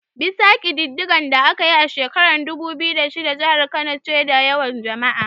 Bisa kididdigar da aka yi a shekarar dubu biyu da shida, jihar Kano ce ke da yawan jama'a.